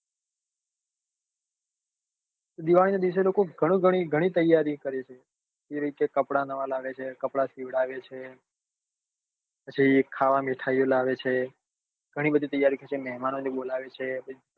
દિવાળી નાં દીસે લોકો ઘણી ઘણી તૈયારી કરે છે એ રીતે કપડા નવા લાવે છે કપડા સિવડાવે છે પછી ખાવા મીઠાઈલાવે છે ઘણી બધી તૈયારી કરે છે કરશે મહેમાનો ને બોલાવે છે પછી